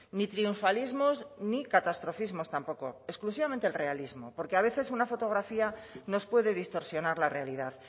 ni triunfalismos ni catastrofismos tampoco exclusivamente el realismo porque a veces una fotografía nos puede distorsionar la realidad